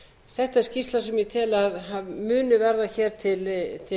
þetta er skýrsla sem ég tel að muni verða hér til